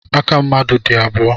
Aka mmadụ dị abụọ.